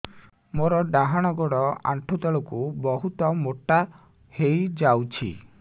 ମୋର ଡାହାଣ ଗୋଡ଼ ଆଣ୍ଠୁ ତଳକୁ ବହୁତ ମୋଟା ହେଇଯାଉଛି